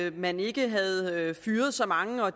at man ikke havde fyret så mange og